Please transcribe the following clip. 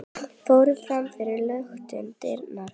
fóru fram fyrir luktum dyrum.